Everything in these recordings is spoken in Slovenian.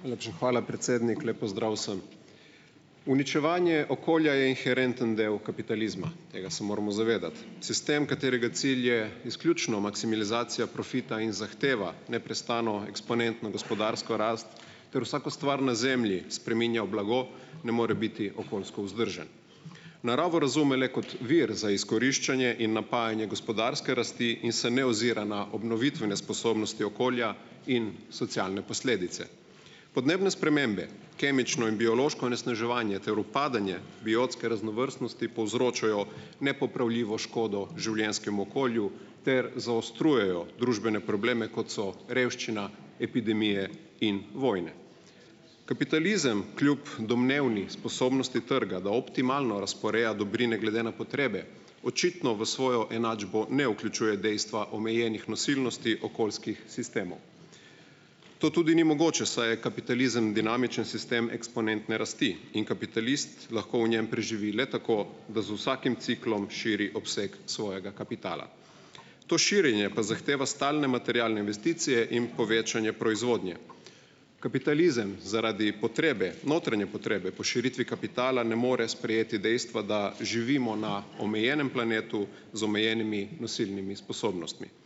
Najlepša hvala, predsednik. Lep pozdrav vsem! Uničevanje okolja je inherenten del kapitalizma. Tega se moramo zavedati. Sistem, katerega cilj je izključno maksimalizacija profita in zahteva neprestano eksponentno gospodarsko rast ter vsako stvar na zemlji spreminja v blago, ne more biti okoljsko vzdržen. Naravo razume le kot vir za izkoriščanje in napajanje gospodarske rasti in se ne ozira na obnovitvene sposobnosti okolja in socialne posledice. Podnebne spremembe, kemično in biološko onesnaževanje ter upadanja biotske raznovrstnosti, povzročajo nepopravljivo škodo življenjskemu okolju ter zaostrujejo družbene probleme, kot so revščina, epidemije in vojne. Kapitalizem kljub domnevni sposobnosti trga, da optimalno razporeja dobrine glede na potrebe, očitno v svojo enačbo ne vključuje dejstva omejenih nosilnosti okoljskih To tudi ni mogoče, saj je kapitalizem dinamičen sistem eksponentne rasti in kapitalist lahko v njem preživi le tako, da z vsakim ciklom širi obseg svojega kapitala. To širjenje pa zahteva stalne materialne investicije in povečanje proizvodnje. Kapitalizem zaradi potrebe, notranje potrebe po širitvi kapitala, ne more sprejeti dejstva, da živimo na omejenem planetu z omejenimi nosilnimi sposobnostmi.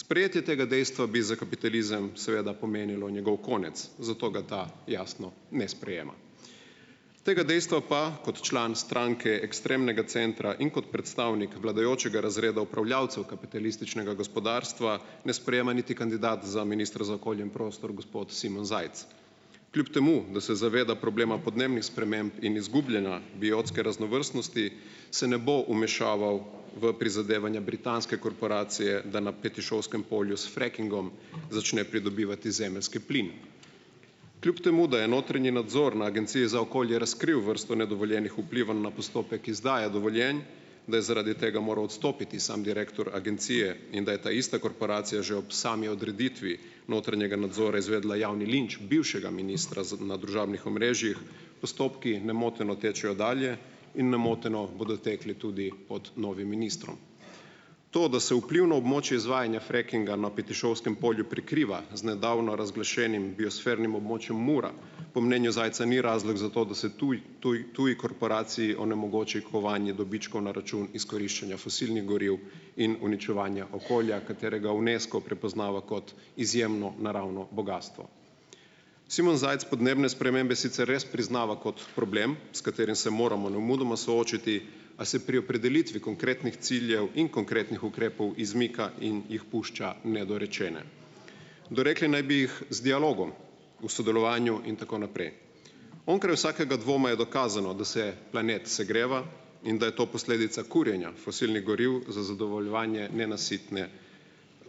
Sprejetje tega dejstva bi za kapitalizem seveda pomenilo njegov konec, zato ga ta, jasno, ne sprejema. Tega dejstva pa kot član stranke ekstremnega centra in kot predstavnik vladajočega razreda upravljalcev kapitalističnega gospodarstva, ne sprejema niti kandidat za ministra za okolje in prostor, gospod Simon Zajc. Kljub temu da se zaveda problema podnebnih sprememb in izgubljanja biotske raznovrstnosti, se ne bo vmešaval v prizadevanja britanske korporacije, da na Petišovskem polju s frackingom začne pridobivati zemeljski plin. Kljub temu da je notranji nadzor na Agenciji za okolje razkril vrsto nedovoljenih vplivov na postopek izdaje dovoljenj, da je zaradi tega moral odstopiti samo direktor agencije in da je ta ista korporacija že ob sami odreditvi notranjega nadzora izvedla javni linč bivšega ministra za na družabnih omrežjih, postopki nemoteno tečejo dalje in nemoteno bodo tekli tudi pod novim ministrom. To, da se vplivno območje izvajanja frackinga na Petišovskem polju prekriva z nedavno razglašenim biosfernim območjem Mura, po mnenju Zajca ni razlog za to, da se tuji tuj tuji korporaciji onemogoči kovanje dobičkov na račun izkoriščanja fosilnih goriv in uničevanja okolja, katerega UNESCO prepoznava kot izjemno naravno bogastvo. Simon Zajc podnebne spremembe sicer res priznava kot problem, s katerim se moramo nemudoma soočiti, a se pri opredelitvi konkretnih ciljev in konkretnih ukrepov izmika in jih pušča nedorečene. Dorekli naj bi jih z dialogom, v sodelovanju in tako naprej. Onkraj vsakega dvoma je dokazano, da se planet segreva in da je to posledica kurjenja fosilnih goriv za zadovoljevanje nenasitne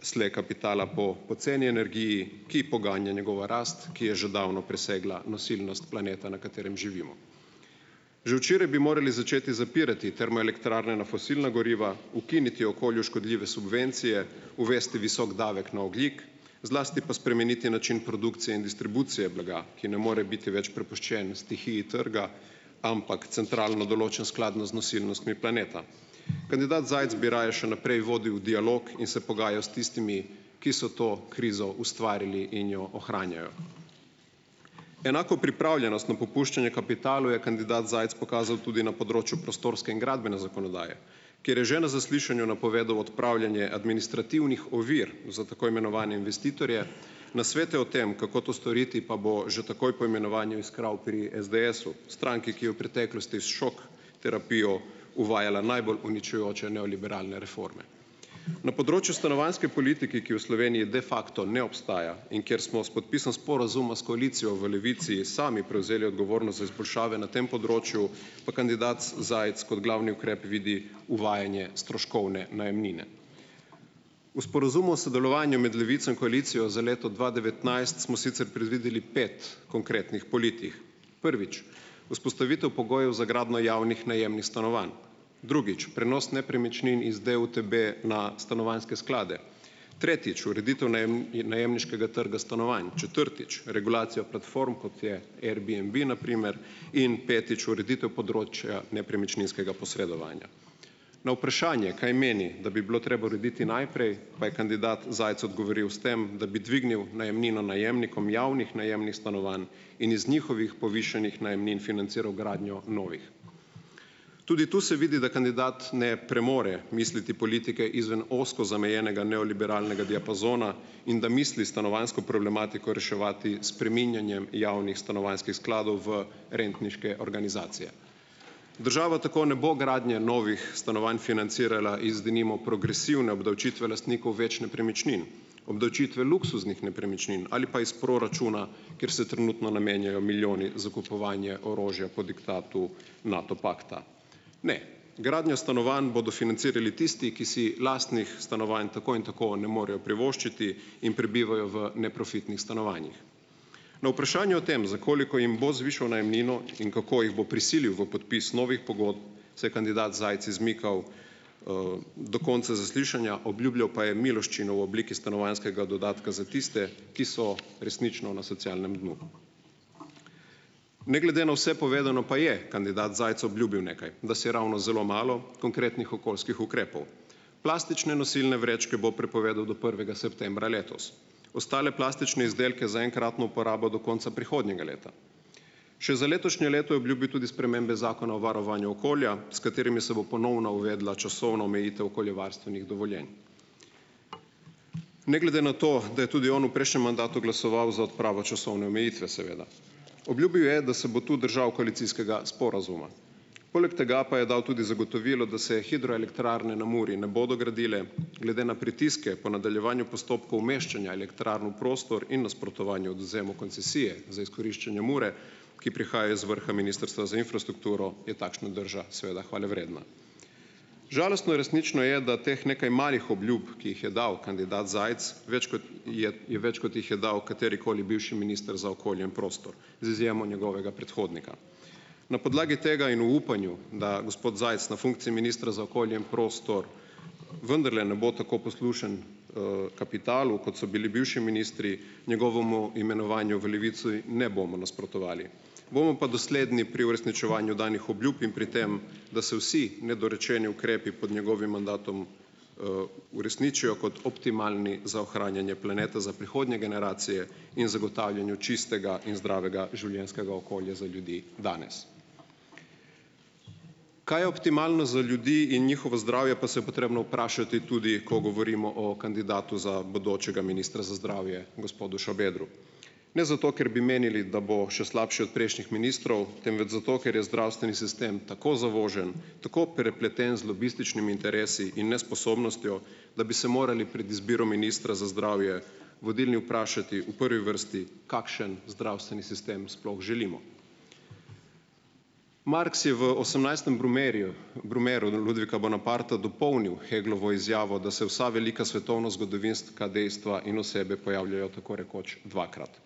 sle kapitala po poceni energiji, ki poganja njegovo rast, ki je že davno presegla nosilnost planeta, na katerem živimo. Že včeraj bi morali začeti zapirati termoelektrarne na fosilna goriva, ukiniti okolju škodljive subvencije, uvesti visok davek na ogljik, zlasti pa spremeniti način produkcije in distribucije blaga, ki ne more biti več prepuščen stihiji trga, ampak centralno določen, skladno z nosilnostmi planeta. Kandidat Zajc bi raje še naprej vodil dialog in se pogajal s tistimi, ki so to krizo ustvarili in jo ohranjajo. Enako pripravljenost na popuščanje kapitalu je kandidat Zajc pokazal tudi na področju prostorske in gradbene zakonodaje, kjer je že na zaslišanju napovedal odpravljanje administrativnih ovir za tako imenovane investitorje, nasvete o tem, kako to storiti, pa bo že takoj po imenovanju iskal pri SDS-u. Stranki, ki je v preteklosti s šok terapijo uvajala najbolj uničujoče neoliberalne reforme. Na področju stanovanjske politike, ki v Sloveniji de facto ne obstaja in kjer smo s podpisom sporazuma s koalicijo v Levici sami prevzeli odgovornost za izboljšave na tem področju, pa kandidat Zajc kot glavni ukrep vidi uvajanje stroškovne najemnine. V sporazumu v sodelovanju med Levico in koalicijo za leto dva devetnajst smo sicer predvideli pet konkretnih politik. Prvič - vzpostavitev pogojev za gradnjo javnih najemnih stanovanj. Drugič - prenos nepremičnin iz DUTB na stanovanjske sklade. Tretjič - ureditev najemniškega trga stanovanj. Četrtič - regulacija platform, kot je Airbnb, na primer, in petič - ureditev področja nepremičninskega posredovanja. Na vprašanje, kaj meni, da bi bilo treba urediti najprej, pa je kandidat Zajc odgovoril s tem, da bi dvignil najemnino najemnikom javnih najemnih stanovanj in iz njihovih povišanih najemnin financiral gradnjo novih. Tudi to se vidi, da kandidat ne premore misliti politike izven ozko zamejenega neoliberalnega diapazona in da misli stanovanjsko problematiko reševati s spreminjanjem javnih stanovanjskih skladov v rentniške organizacije. Država tako ne bo gradnje novih stanovanj financirala iz, denimo, progresivne obdavčitve lastnikov več nepremičnin, obdavčitve luksuznih nepremičnin ali pa iz proračuna, kjer se trenutno namenjajo milijoni za kupovanje orožja po diktatu NATO pakta. Ne. Gradnjo stanovanj bodo financirali tisti, ki si lastnih stanovanj tako in tako ne morejo privoščiti in prebivajo v neprofitnih stanovanjih. Na vprašanje o tem, za koliko jim bo zvišal najemnino in kako jih bo prisilil v podpis novih pogodb, se je kandidat Zajc izmikal do konca zaslišanja. Obljubljal pa je miloščino v obliki stanovanjskega dodatka za tiste, ki so resnično na socialnem dnu. Ne glede na vse povedano, pa je kandidat Zajc obljubil nekaj, dasiravno zelo malo konkretnih okoljskih ukrepov. Plastične nosilne vrečke bo prepovedal do prvega septembra letos, ostale plastične izdelke za enkratno uporabo do konca prihodnjega leta. Še za letošnje leto je obljubil tudi spremembe zakona o varovanju okolja, s katerimi se bo ponovno uvedla časovna omejitev okoljevarstvenih dovoljenj, ne glede na to, da je tudi on v prejšnjem mandatu glasoval za odpravo časovne omejitve, seveda. Obljubil je, da se bo tu držal koalicijskega sporazuma. Poleg tega pa je dal tudi zagotovilo, da se hidroelektrarne na Muri ne bodo gradile, glede na pritiske po nadaljevanju postopkov umeščanja elektrarn v prostor in nasprotovanju odvzemu koncesije za izkoriščanja Mure, ki prihaja iz vrha Ministrstva za infrastrukturo, je takšna drža, seveda, hvalevredna. Žalostno in resnično je, da teh nekaj malih obljub, ki jih je dal kandidat Zajc, več kot je je več, kot jih je dal katerikoli bivši minister za okolje in prostor z izjemo njegovega predhodnika. Na podlagi tega in v upanju, da gospod Zajc na funkciji ministra za okolje in prostor vendarle ne bo tako poslušen kapitalu, kot so bili bivši ministri, njegovomu imenovanju v Levici ne bomo nasprotovali. Bomo pa dosledni pri uresničevanju danih obljub in pri tem, da se vsi nedorečeni ukrepi pod njegovim mandatom uresničijo kot optimalni za ohranjanje planeta za prihodnje generacije in zagotavljanju čistega in zdravega življenjskega okolja za ljudi danes. Kaj je optimalno za ljudi in njihovo zdravje, pa se je potrebno vprašati tudi, ko govorimo o kandidatu za bodočega ministra za zdravje, gospodu Šabedru. Ne zato, ker bi menili, da bo še slabši od prejšnjih ministrov, temveč zato, ker je zdravstveni sistem tako zavožen, tako prepleten z lobističnimi interesi in nesposobnostjo, da bi se morali pred izbiro ministra za zdravje vodilni vprašati v prvi vrsti, kakšen zdravstveni sistem sploh želimo. Marx je v osemnajstem brumairju, brumairju Ludvika Bonaparta dopolnil Heglovo izjavo, da se vsa velika svetovnozgodovinska dejstva in osebe pojavljajo tako rekoč dvakrat.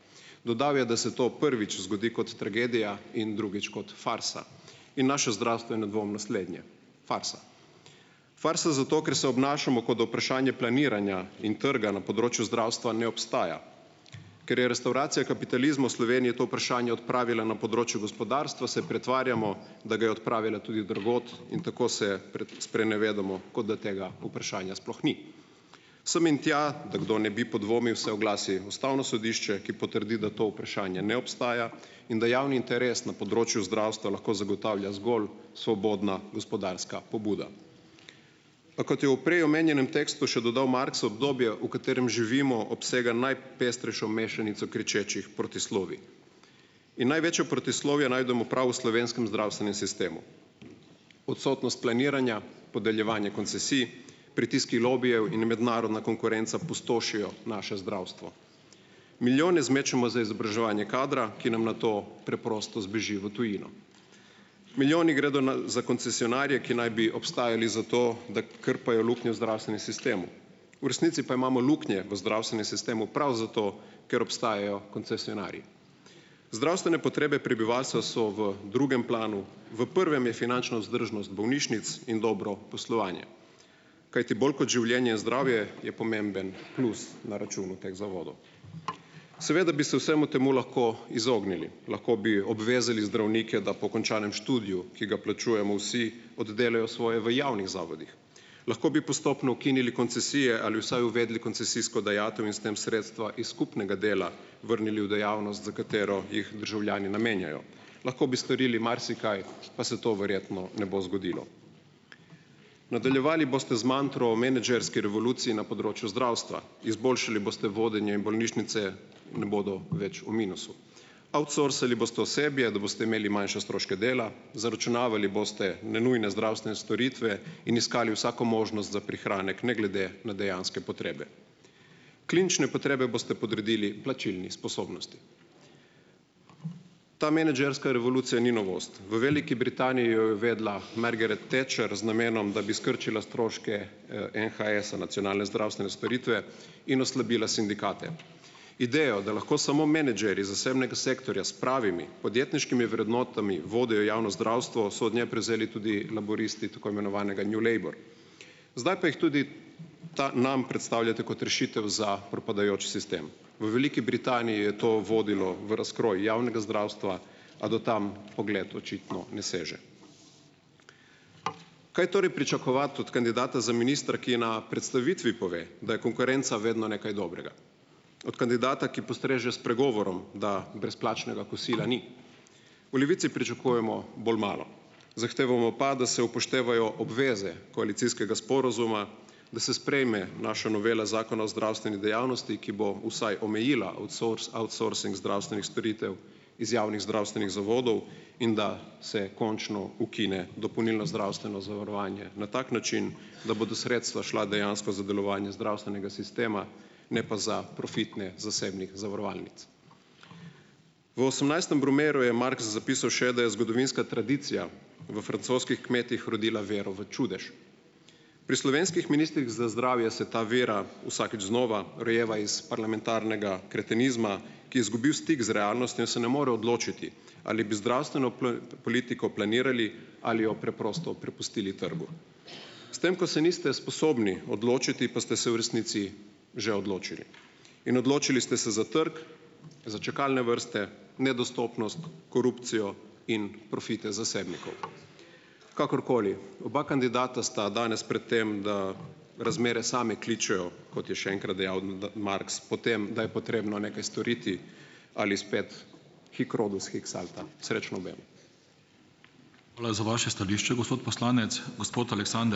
Dodal je, da se to prvič zgodi kot tragedija in drugič kot farsa. In naše zdravstvo je nedvomno slednje, farsa. Farsa zato, ker se obnašamo, kot da vprašanje planiranja in trga na področju zdravstva ne obstaja, ker je restavracija kapitalizma v Sloveniji to vprašanje odpravila, na področju gospodarstva se pretvarjamo, da ga je odpravila tudi drugod, in tako se sprenevedamo, kot da tega vprašanja sploh ni. Sem in tja, da kdo ne bi podvomil, se oglasi Ustavno sodišče, ki potrdi, da to vprašanje ne obstaja in da javni interes na področju zdravstva lahko zagotavlja zgolj svobodna gospodarska pobuda. A kot je v prej omenjenem tekstu še dodal Marx, obdobje, v katerem živimo, obsega najpestrejšo mešanico kričečih protislovij. In največjo protislovje najdemo prav v slovenskem zdravstvenem sistemu. Odsotnost planiranja, podeljevanje koncesij, pritiski lobijev in mednarodna konkurenca pustošijo naše zdravstvo. Milijone zmečemo za izobraževanje kadra, ki nam nato preprosto zbeži v tujino. Milijoni gredo na za koncesionarje, ki naj bi obstajali zato, da krpajo luknje v zdravstvenem sistemu. V resnici pa imamo luknje v zdravstvenem sistemu prav zato, ker obstajajo koncesionarji. Zdravstvene potrebe prebivalstva so v drugem planu. V prvem je finančna vzdržnost bolnišnic in dobro poslovanje. Kajti, bolj kot življenje, zdravje je pomemben plus na računu teh zavodov. Seveda bi se vsemu temu lahko izognili. Lahko bi obvezali zdravnike, da po končanem študiju, ki ga plačujemo vsi, oddelajo svoje v javnih zavodih. Lahko bi postopno ukinili koncesije ali vsaj uvedli koncesijsko dajatev in s tem sredstva iz skupnega dela vrnili v dejavnost, za katero jih državljani namenjajo. Lahko bi storili marsikaj, pa se to verjetno ne bo zgodilo. Nadaljevali boste z mantro menedžerske revolucije na področju zdravstva. Izboljšali boste vodenje in bolnišnice ne bodo več v minusu. Outsourcali boste osebje, da boste imeli manjše stroške dela, zaračunavali boste nenujne zdravstvene storitve in iskali vsako možnost za prihranek ne glede na dejanske potrebe. Klinične potrebe boste podredili plačilni sposobnosti. Ta menedžerska revolucija ni novost. V Veliki Britaniji jo je uvedla Margaret Thatcher z namenom, da bi skrčila stroške NHS-a, nacionalne zdravstvene storitve, in oslabila sindikate. Idejo, da lahko samo menedžerji zasebnega sektorja s pravimi podjetniškimi vrednotami vodijo javno zdravstvo, so od nje prevzeli tudi laburisti tako imenovanega New Labor. Zdaj pa jih tudi ta nam predstavljate kot rešitev za propadajoč sistem. V Veliki Britaniji je to vodilo v razkroj javnega zdravstva, a do tam pogled očitno ne seže. Kaj torej pričakovati od kandidata za ministra, ki na predstavitvi pove, da je konkurenca vedno nekaj dobrega, od kandidata, ki postreže s pregovorom, da brezplačnega kosila ni? V Levici pričakujemo bolj malo. Zahtevamo pa, da se upoštevajo obveze koalicijskega sporazuma, da se sprejme naša novela Zakona o zdravstveni dejavnosti, ki bo vsaj omejila outsourcing zdravstvenih storitev iz javnih zdravstvenih zavodov, in da se končno ukine dopolnilno zdravstveno zavarovanje na tak način, da bodo sredstva šla dejansko za delovanje zdravstvenega sistema, ne pa za profitne zasebnih zavarovalnic. V osemnajstem brumairju je Marx zapisal še, da je zgodovinska tradicija v francoskih kmetih rodila vero v čudež. Pri slovenskih ministrih za zdravje se ta vera vsakič znova rojeva iz parlamentarnega kretenizma, ki je zgubil stik z realnostjo in se ne more odločiti, ali bi zdravstveno politiko planirali ali jo preprosto prepustili trgu. S tam, ko se niste sposobni odločiti, pa ste se v resnici že odločili in odločili ste se za trg, za čakalne vrste, nedostopnost, korupcijo in profite zasebnikov. Kakorkoli, oba kandidata sta danes pred tem, da razmere same kličejo, kot je še enkrat dejal Marx, po tem, da je potrebno nekaj storiti ali spet. Srečno obema.